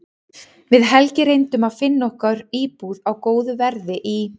Við Helgi reyndum að finna okkur íbúð á góðu verði í